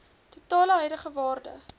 totale huidige waarde